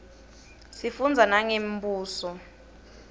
sifundza nangemibuso